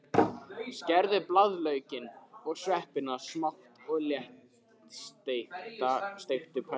Skerðu blaðlaukinn og sveppina smátt og léttsteiktu á pönnu.